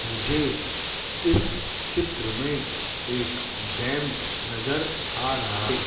मुझे इस चित्र में एक डैम नजर आ रहा है।